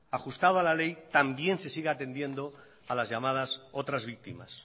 ajustado a la ley también se sigue atendiendo a las llamadas otras víctimas